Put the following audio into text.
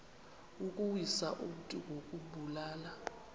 ukuwisa umntu ngokumbulala